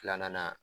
Filanan